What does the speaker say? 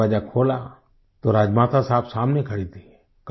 मैंने दरवाजा खोला तो राजमाता साहब सामने खड़ी थी